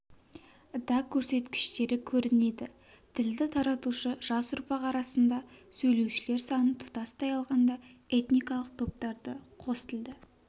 да көрсеткіштері көрінеді тілді таратушы жас ұрпақ арасында сөйлеушілер саны тұтастай алғанда этникалық топтарда қостілді